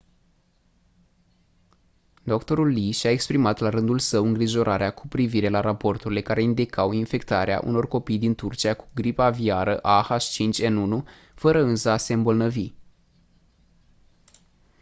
dr. lee și-a exprimat la rândul său îngrijorarea cu privire la raporturile care indicau infectarea unor copii din turcia cu gripa aviară a h5n1 fără însă a se îmbolnăvi